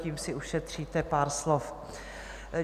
Tím si ušetříte pár slov.